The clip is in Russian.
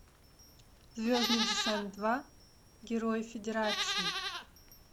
звездный десант два герои федерации